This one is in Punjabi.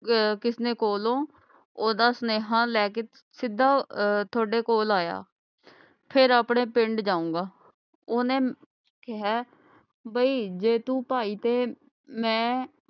ਅਹ ਕਿਸਨੇ ਕੋਲੋਂ ਓਹਦਾ ਸਨੇਹਾ ਲੈ ਕੇ ਅਹ ਸਿੱਧਾ ਥੋੜੇ ਕੋਲ ਆਇਆ ਫੇਰ ਆਪਣੇ ਪਿੰਡ ਜਾਊਂਗਾ ਓਹਨੇ ਕਿਹਾ ਹੈ ਬੀ ਜੇ ਤੂੰ ਭਾਈ ਤੇ ਮੈਂ